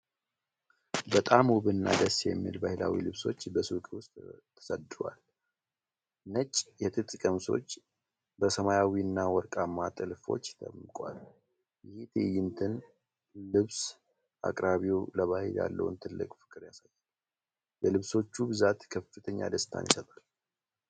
በጣም ውብና ደስ የሚል ባህላዊ ልብሶች በሱቅ ውስጥ ተሰድረዋል። ነጭ የጥጥ ቀሚሶች በሰማያዊና ወርቃማ ጥልፎች ደምቀዋል። ይህ ትዕይንት ልብስ አቅራቢው ለባህል ያለውን ትልቅ ፍቅር ያሳያል። የልብሶቹ ብዛት ከፍተኛ ደስታን ይሰጣል።